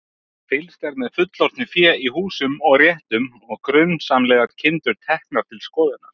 Fylgst er með fullorðnu fé í húsum og réttum og grunsamlegar kindur teknar til skoðunar.